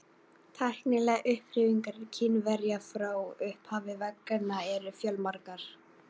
Tæknilegar uppfinningar Kínverja frá upphafi vega eru fjölmargar.